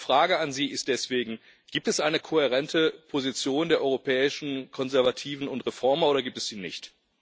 Meine Frage an Sie ist deswegen Gibt es eine kohärente Position der europäischen Konservativen und Reformer oder gibt es sie nicht?